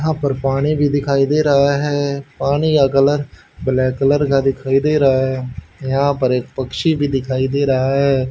यहां पर पानी भी दिखाई दे रहा है पानी का कलर ब्लैक कलर का दिखाई दे रहा है यहां पर एक पक्षी भी दिखाई दे रहा है।